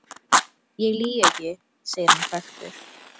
Ég lýg ekki, segir hann hvekktur.